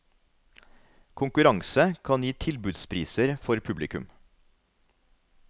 Konkurranse kan gi tilbudspriser for publikum.